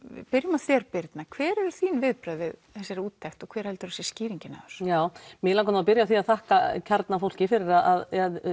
byrjum á þér Birna hver eru þín viðbrögð við þessari úttekt og hver helduru að sé skýringin á þessu já mig langar nú að byrja á því að þakka kjarna fólki fyrir að